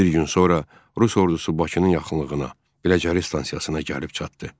Bir gün sonra rus ordusu Bakının yaxınlığına, Biləcəri stansiyasına gəlib çatdı.